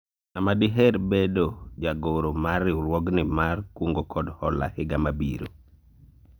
ng'ama diher mar bedo jagoro mar riwruogni mar kungo kod hola higa mabiro ?